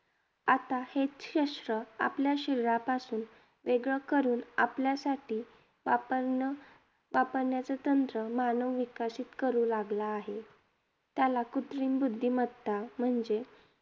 आता हेच शस्त्र, आपल्या शरीरापासून वेगळं करून आपल्यासाठी वापरणं वापरण्याचं तंत्र मानव विकसित करू लागला आहे. त्याला कृत्रिम बुद्धिमत्ता म्हणजे,